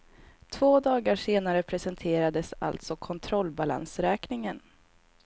Två dagar senare presenterades alltså kontrollbalansräkningen.